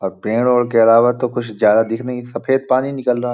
अब पेड़- वेड़ के अलावा कुछ तो ज्यादा दिख नहीं सफ़ेद पानी निकल रहा --